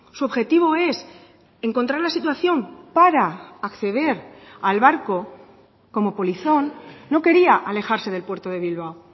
su objetivo es encontrar la situación para acceder al barco como polizón no quería alejarse del puerto de bilbao